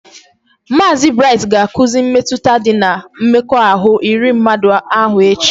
Maazi Bright ga akuzi mmetụta dị na mmekọahụ iri mmadụ ahụ echi